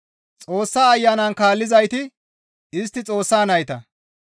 Xoossa Ayanan kaallizayti istti Xoossa nayta.